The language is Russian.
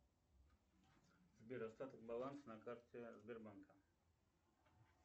сбер остаток баланса на карте сбербанка